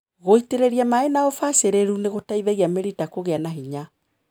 Gũitĩrĩria maĩ na ũbacĩrĩru nĩgũteithagia mĩrita kũgĩa na hinya.